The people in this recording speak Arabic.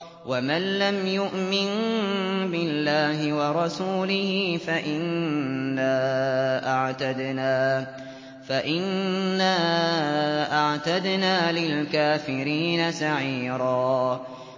وَمَن لَّمْ يُؤْمِن بِاللَّهِ وَرَسُولِهِ فَإِنَّا أَعْتَدْنَا لِلْكَافِرِينَ سَعِيرًا